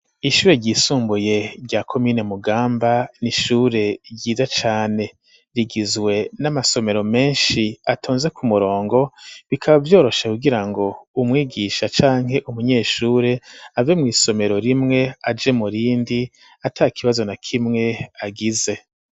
Ishure ry'isumbuye rya komine Mugamba n'ishure ryiza cane, rigizwe n'amasomero menshi atonze ku murongo bikaba vyorosha kugira ngo umwigisha canke umunyeshure ave mwisomero rimwe aje murindi atakibazo na kimwe agize.